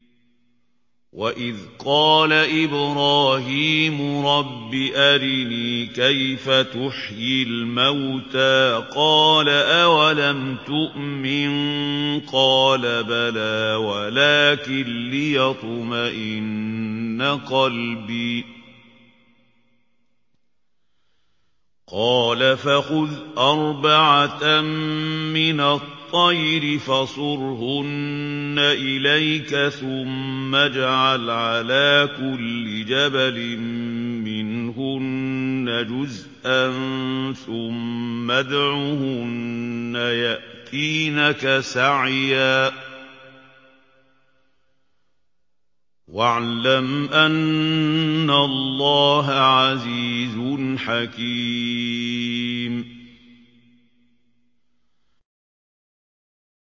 وَإِذْ قَالَ إِبْرَاهِيمُ رَبِّ أَرِنِي كَيْفَ تُحْيِي الْمَوْتَىٰ ۖ قَالَ أَوَلَمْ تُؤْمِن ۖ قَالَ بَلَىٰ وَلَٰكِن لِّيَطْمَئِنَّ قَلْبِي ۖ قَالَ فَخُذْ أَرْبَعَةً مِّنَ الطَّيْرِ فَصُرْهُنَّ إِلَيْكَ ثُمَّ اجْعَلْ عَلَىٰ كُلِّ جَبَلٍ مِّنْهُنَّ جُزْءًا ثُمَّ ادْعُهُنَّ يَأْتِينَكَ سَعْيًا ۚ وَاعْلَمْ أَنَّ اللَّهَ عَزِيزٌ حَكِيمٌ